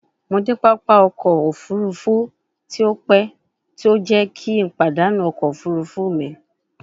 Mo de papa ọkọ ofurufu ti o pẹ ti o jẹ ki n padanu ọkọ ofurufu mi